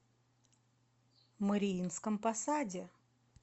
мариинском посаде